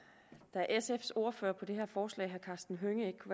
da sfs ordfører på det her forslag herre karsten hønge ikke